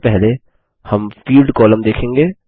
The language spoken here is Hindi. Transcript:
सबसे पहले हम फील्ड कॉलम देखेंगे